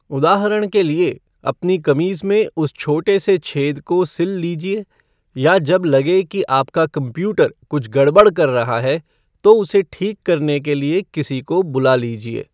उदाहरण के लिए, अपनी कमीज में उस छोटे से छेद को सिल लीजिये या जब लगे की आपका कम्प्यूटर कुछ गड़बड़ कर रहा है तो उसे ठीक करने के लिए किसी को बुला लीजिए।